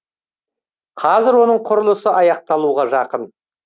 қазір оның құрылысы аяқталуға жақын